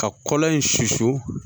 Ka kɔlɔn in susu